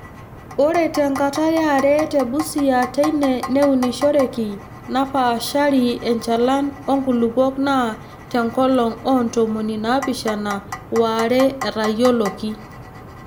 Ore te nkata yare te Busia teine neunishoreki napaashari enchalan oo nkulupuok naa Te nkolong oo ntomoni naapishana waare etayioloki.